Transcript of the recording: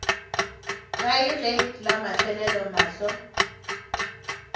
kae ge la mafelelo mahlo